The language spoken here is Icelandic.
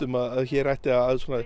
að hér ætti að